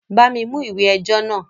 Bá mi mú ìwé ẹjọ́ náà!